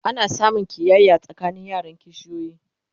ana samun ƙiyaya tsakanin yaran kishiyoyi